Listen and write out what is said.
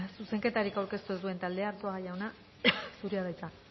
zuzenketarik aurkeztu ez duen taldea arzuaga jauna zurea da hitza